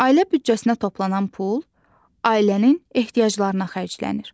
Ailə büdcəsinə toplanan pul ailənin ehtiyaclarına xərclənir.